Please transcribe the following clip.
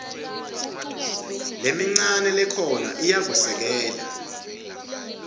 lemincane lekhona ayikasekelwa